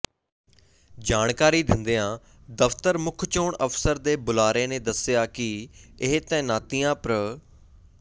ਜਾਣਕਾਰੀ ਦਿੰਦਿਆਂ ਦਫ਼ਤਰ ਮੁੱਖ ਚੋਣ ਅਫ਼ਸਰ ਦੇ ਬੁਲਾਰੇ ਨੇ ਦੱਸਿਆ ਕਿ ਇਹ ਤਾਇਨਾਤੀਆਂ ਪ੍ਰ